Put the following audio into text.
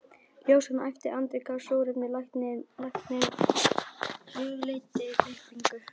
Ljósan æpti, Andri gaf súrefni, læknirinn hugleiddi klippingu.